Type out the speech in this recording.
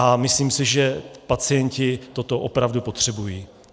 A myslím si, že pacienti toto opravdu potřebují.